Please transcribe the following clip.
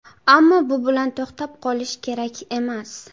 Ammo bu bilan to‘xtab qolish kerak emas.